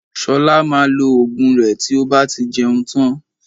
Ṣọlá maa lo Ògùn rẹ tí ó bá ti jẹun tán